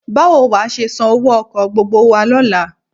Báwo wà á ṣe san owó ọkọ̀ gbogbo wa lọ́la?